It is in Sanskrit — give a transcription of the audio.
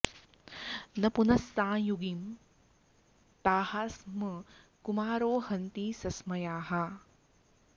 न पुनः सांयुगीं ताः स्म कुमारो हन्ति सस्मयाः